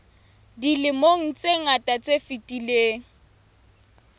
dilemong tse ngata tse fetileng